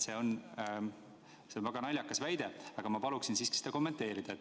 See on väga naljakas väide ja ma palun seda kommenteerida.